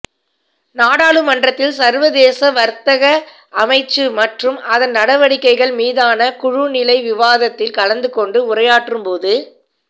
நாடாளுமன்றத்தில் சர்வதேசவர்த்தகஅமைச்சு மற்றும் அதன் நடவடிக்கைகள் மீதான குழு நிலை விவாதத்தில் கலந்து கொண்டு உரையாற்றும் போது